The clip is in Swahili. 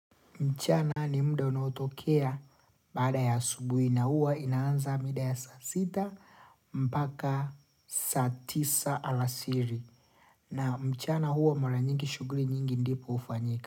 Mchana ni mda unaotokea badaa ya asubuhi na huwa inaanza mida ya sasita mpaka satisa alasiri na mchana huwa mara nyingi shuguri nyingi ndipo hufanyika.